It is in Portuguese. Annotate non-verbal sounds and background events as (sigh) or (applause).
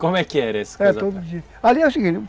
Como é que era isso? (unintelligible) Era todo dia, ali era o seguinte